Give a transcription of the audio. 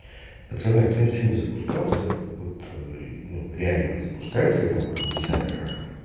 пацаны кто-нибудь сегодня запускался вот ну реально запускали хотя бы там десяток акков